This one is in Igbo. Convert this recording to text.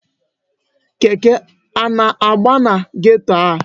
Keke a na-agba na geto a?